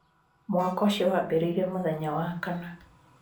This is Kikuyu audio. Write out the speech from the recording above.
Mwako ũcio wambĩrĩirie mũthenya wa kana.